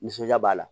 Nisɔndiya b'a la